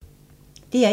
DR1